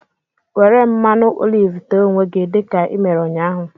Were mmanụ olive te onwe gị dị ka i mere ụnyahụ!